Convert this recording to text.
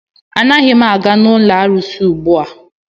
Anaghị m aga n'ụlọ arụsị ugbua.